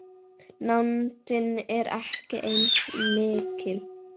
Nándin er ekki eins mikil.